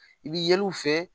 I bi yɛl'u fɛ